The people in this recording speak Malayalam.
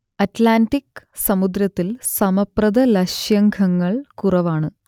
അറ്റ്‌ലാന്റിക് സമുദ്രത്തിൽ സമപ്രതലശൃംഖങ്ങൾ കുറവാണ്